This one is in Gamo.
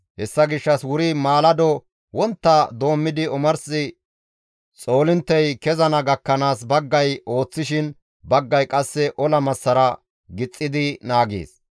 Hessa gishshas wuri maalado wontta doommidi omars xoolinttey kezana gakkanaas baggay ooththishin baggay qasse ola massara gixxidi naagees.